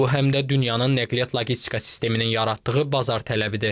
Bu həm də dünyanın nəqliyyat logistika sisteminin yaratdığı bazar tələbidir.